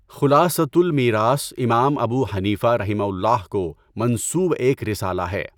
خُلاصۃُ المیراث امام ابو حنیفہ رَحِمَہُ اللہ کو منسوب ایک رسالہ ہے۔